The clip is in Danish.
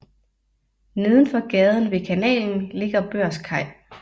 Nedenfor gaden ved kanalen ligger Børskaj